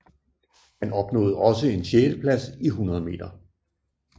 Han opnåede også en sjetteplads i 100 meter